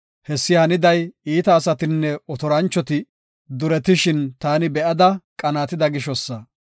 Hessi haniday iita asatinne otoranchoti, duretishin taani be7ada qanaatida gishosa.